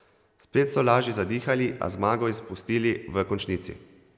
Spet so lažje zadihali, a zmago izpustili v končnici.